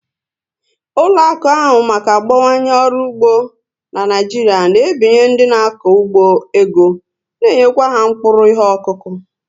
Ụlọakụ n'ahụ maka gbawanye ọrụ ugbo n'Naijiria na ebinye ndị n'ako ugbo ego na enyekwa ha mkpụrụ ihe okuku